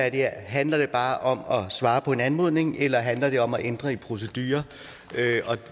i det her handler det bare om at svare på en anmodning eller handler det om at ændre proceduren